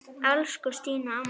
Elsku Stína amma.